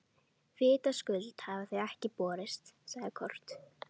Vitaskuld hafa þau ekki borist, sagði Kort.